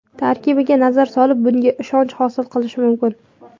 Tarkibiga nazar solib, bunga ishonch hosil qilish mumkin.